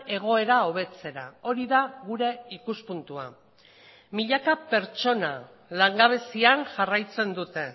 egoera hobetzera hori da gure ikuspuntua milaka pertsona langabezian jarraitzen dute